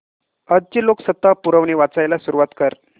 आजची लोकसत्ता पुरवणी वाचायला सुरुवात कर